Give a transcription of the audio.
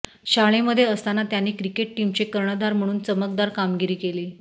शाळेमध्ये असताना त्यांनी क्रिकेट टीमचे कर्णधार म्हणून चमकदार कामगिरी केली